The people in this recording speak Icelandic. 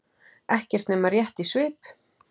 Ekki nema rétt í svip.